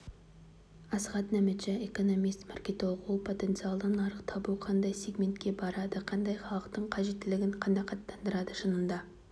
асхат нәметша экономист маркетинг ол потенциалды нарық табу қандай сигментке барады қандай халықтың қажеттілігін қанағаттандырады шынында